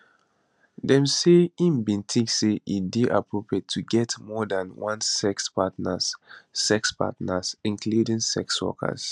dem say im bin tink say e dey appropriate to get more dan one sex partners sex partners including sex workers